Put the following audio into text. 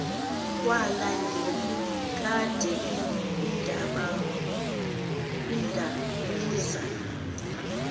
kwala ngelikade ndabuza